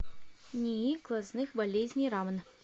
нии глазных болезней рамн